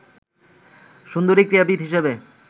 সুন্দরী ক্রীড়াবিদ হিসেবে